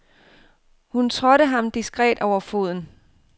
Hun trådte ham diskret over foden.